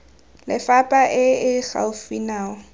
lefapha e e gaufi nao